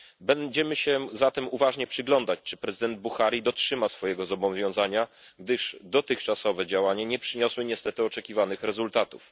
Będziemy się zatem uważnie przyglądać, czy prezydent Buhari dotrzyma swojego zobowiązania, gdyż dotychczasowe działania nie przyniosły niestety oczekiwanych rezultatów.